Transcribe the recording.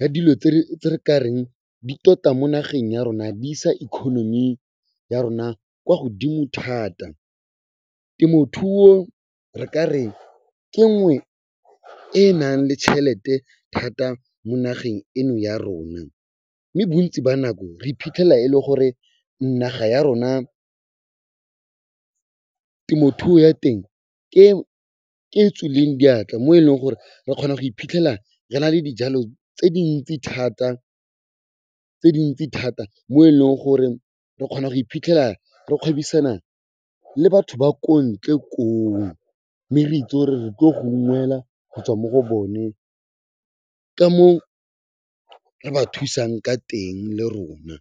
ya dilo tse re ka reng di tota mo nageng ya rona di isa economy ya rona kwa godimo thata. Temothuo re ka re ke nngwe e e nang le tšhelete thata mo nageng eno ya rona, mme bontsi ba nako re iphitlhela e le gore naga ya rona, temothuo ya teng ke e tswileng diatla mo e leng gore re kgona go iphitlhela re na le dijalo tse dintsi thata mo e leng gore re kgona go iphitlhela re gwebisana le batho ba ko ntle koo. Mme re itse gore re tlo go unngwela gotswa mo go bone ka moo re ba thusang ka teng le rona.